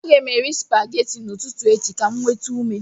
Aga m eri spaghetti n'ụtụtụ echi ka m nweta ume